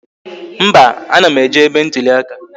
Mba, a na m eje ebe ntụli aka